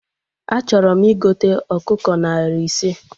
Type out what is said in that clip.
Achọrọ m igote ọkụkọ narị ise